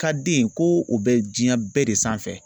Ka den ko o bɛ diɲɛ bɛɛ de sanfɛ.